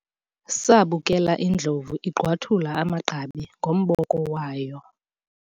sabukela indlovu igqwathula amagqabi ngomboko wayo